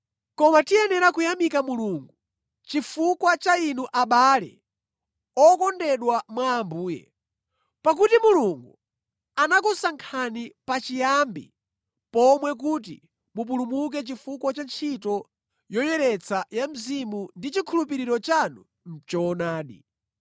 Koma tiyenera kuyamika Mulungu chifukwa cha inu abale okondedwa mwa Ambuye, pakuti Mulungu anakusankhani pachiyambi pomwe kuti mupulumuke chifukwa cha ntchito yoyeretsa ya Mzimu ndi chikhulupiriro chanu mʼchoonadi.